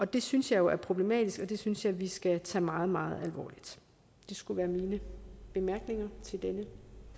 det synes jeg jo er problematisk og det synes jeg vi skal tage meget meget alvorligt det skal være mine bemærkninger til denne